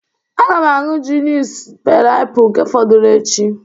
a ga m aṅụ junice pineapple nke fọdụrụ echi